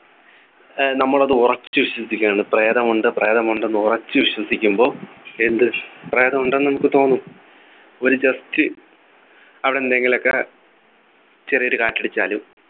ഏർ നമ്മളത് ഉറച്ചു വിശ്വസിക്കണ് പ്രേതമുണ്ട് പ്രേതമുണ്ട് എന്ന് ഉറച്ചു വിശ്വസിക്കുമ്പോ എന്ത് പ്രേതം ഉണ്ടെന്ന് നമുക്ക് തോന്നും ഒരു Just അവിടെ എന്തെങ്കിലു ഒക്കെ ചെറിയൊരു കാറ്റടിച്ചാലും